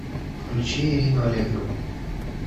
включи ирину аллегрову